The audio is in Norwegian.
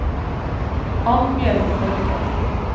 Annbjørg Borgen